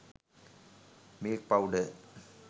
milk powder